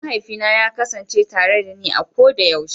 Mahaifina ya kasance tare dani a koda yaushe.